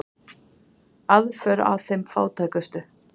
Aðför að þeim fátækustu